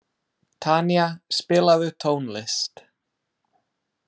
Tanía, spilaðu tónlist.